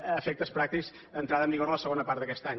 a efectes pràctics entrarà en vigor la segona part d’aquest any